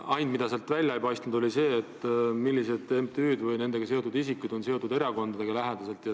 Ainus, mis välja ei paista, on see, millised MTÜ-d või nendega seotud isikud on lähedaselt seotud erakondadega.